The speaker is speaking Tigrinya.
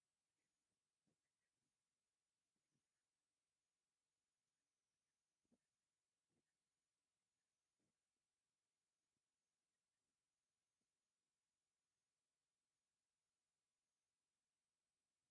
መሳርሒ ንክንደይ ዝኣኽል ሰዓት ነቲ ትኩስ ነገር ብትኩስነቱ የፅንሖ?